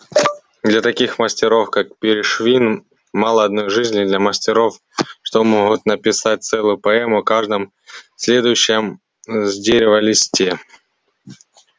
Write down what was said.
для таких мастеров как пришвин мало одной жизни для мастеров что могут написать целую поэму о каждом следующем с дерева листе